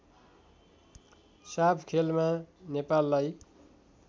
साफ खेलमा नेपाललाई